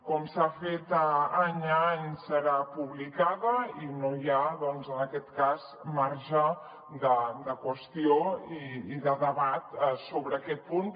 com s’ha fet any a any serà publicada i no hi ha en aquest cas marge de qüestió i de debat sobre aquest punt